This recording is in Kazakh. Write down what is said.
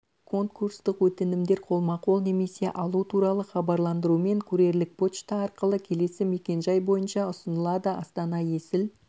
конкурстық өтінімдер қолма-қол немесе алу туралы хабарландырумен курьерлік почта арқылы келесі мекенжай бойынша ұсынылады астана есіл